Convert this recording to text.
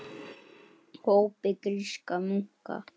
hópi grískra munka.